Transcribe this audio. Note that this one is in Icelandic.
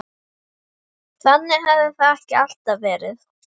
Þannig hafði það ekki alltaf verið.